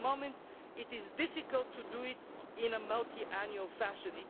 it. At the moment it is difficult to do it in a multiannual fashion.